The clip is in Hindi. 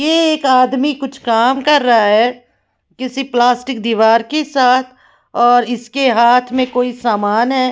ये एक आदमी कुछ काम कर रहा है किसी प्लास्टिक दीवार के साथ और इसके हाथ में कोई समान है।